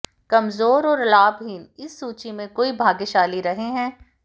कमजोर और लाभहीन इस सूची में कोई भाग्यशाली रहे हैं